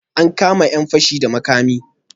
An kama 'yan fashi da makami?